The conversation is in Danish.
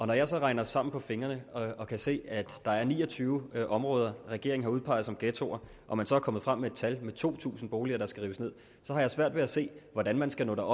når jeg så regner sammen på fingrene og kan se at der er ni og tyve områder regeringen har udpeget som ghettoer og man så er kommet frem antal på to tusind boliger der skal rives ned så har jeg svært ved at se hvordan man skal nå